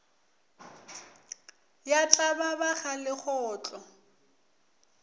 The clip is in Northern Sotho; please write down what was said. ya tlaba ba ga legotlo